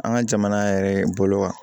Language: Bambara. An ka jamana yɛrɛ bolo wa